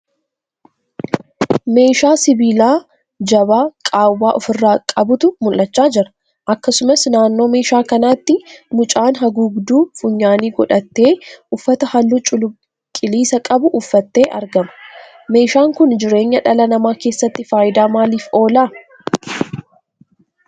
Meeshaa sibiilaa jabaa qaawwaa ofirraa qabutu mul'achaa jira. Akkasumas naannoo meeshaa kanaatti mucaan haguugduu funyaanii godhatee uffata halluu cuquliisa qabu uffatee argama. Meeshaan kun jireenya dhala namaa keessatti faayidaa maaliif oola?